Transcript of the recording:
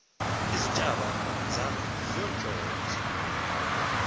iintshaba zakho zinyoshoza